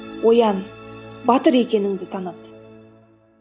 оян батыр екеніңді таныт